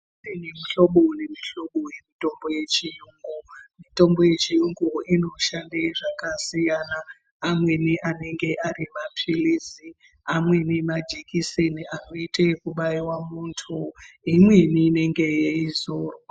Kune mihlobo memihlobo yemitombo yechiyungu mitombo yechiyungu inoshande zvakasiyana amweni anenge ari mapilizi, amweni majekiseni anoitwe ekubaiwe muntu imweni inenge yeizorwa.